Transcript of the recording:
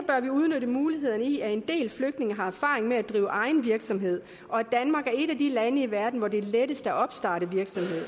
udnytte mulighederne i at en del flygtninge har erfaring med at drive egen virksomhed og at danmark er et af de lande i verden hvor det er lettest at opstarte virksomhed